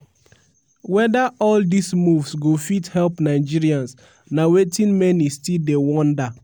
weda all dis moves go fit help nigerians na wetin many still dey wonder.